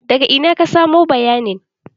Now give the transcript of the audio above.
Daga ina ka samo bayanin?